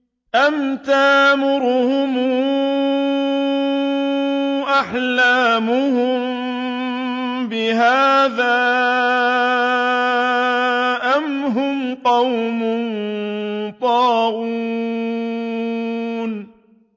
أَمْ تَأْمُرُهُمْ أَحْلَامُهُم بِهَٰذَا ۚ أَمْ هُمْ قَوْمٌ طَاغُونَ